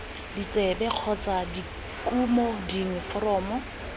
ditsebe kgotsa dikumo dingwe foromo